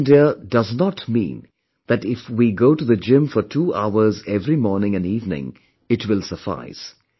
Fit India does not mean that if we go to the gym for two hours every morning and evening, it will suffice